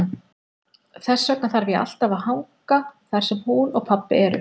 Þess vegna þarf ég alltaf að hanga þar sem hún og pabbi eru.